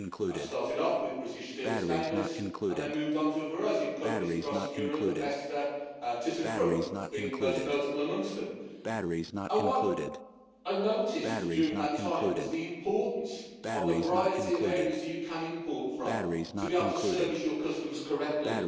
I started off with British Steel Stainless and then moved on to a variety of companies across Europe, Avesta and Thyssenkrupp being most notable amongst them. What I noticed during that time was the importance of the variety of areas you can import from to be able to service your customers correctly.